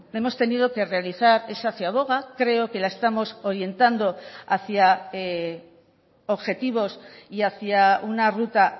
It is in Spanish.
hemos tenido que realizar esa ciaboga creo que la estamos orientando hacia objetivos y hacia una ruta